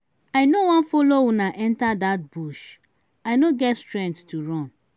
i no wan follow una enter dat bush i no get strength to run.